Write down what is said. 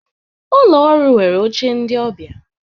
Ụlọ ọrụ nwere oche ndị ọbịa